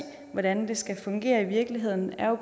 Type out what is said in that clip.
hvordan det skal fungere i virkeligheden er jo